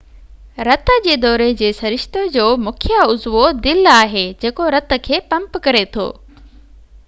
رت جي دوري جي سرشتي جو مکيہ عضوو دل آهي جيڪو رت کي پمپ ڪري ٿو